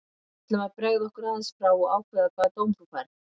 Við ætlum að bregða okkur aðeins frá og ákveða hvaða dóm þú færð.